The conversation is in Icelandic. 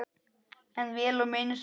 En vel á minnst.